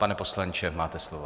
Pane poslanče, máte slovo.